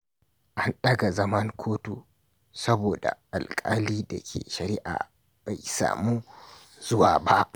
An daga zaman kotu saboda alkalin da ke shari’a bai samu zuwa ba.